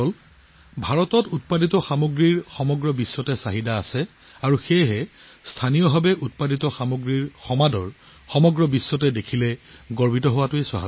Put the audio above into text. ভাৰতৰ ইমানবোৰ সামগ্ৰী আছে যিবোৰৰ সমগ্ৰ বিশ্বতে বহু চাহিদা আছে আৰু যেতিয়া আমি ভাৰতৰ কোনো স্থানীয় সামগ্ৰী বিশ্বজনীন হৈ পৰা দেখিবলৈ পাওঁ তেতিয়া গৌৰৱেৰে উথলি উঠাটো স্বাভাৱিক